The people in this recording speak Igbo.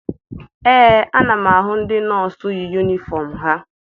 Ee, ana m ahụ ndị nọọsụ yi yunifọm ha.